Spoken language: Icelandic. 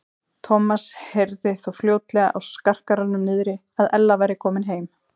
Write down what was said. Thomas heyrði þó fljótlega á skarkalanum niðri að Ella væri komin heim.